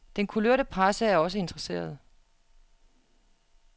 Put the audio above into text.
Den kulørte presse er også interesseret